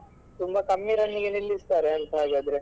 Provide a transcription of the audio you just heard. ತುಂಬಾ ಕಮ್ಮಿ run ಗೆ ನಿಲ್ಲಿಸ್ತಾರೆ ಅಂತ ಹಾಗಾದ್ರೆ.